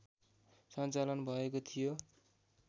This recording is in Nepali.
सञ्चालन भएको थियो